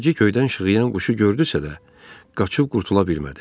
Zərrəcik göydən şığıyan quşu gördüsə də, qaçıb qurtula bilmədi.